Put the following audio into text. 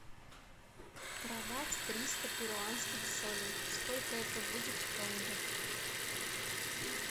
продать триста перуанских солей сколько это будет в тенге